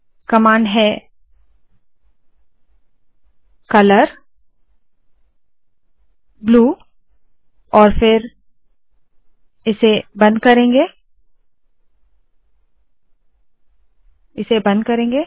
command है - colour blue और फिर इसे बंद करेंगे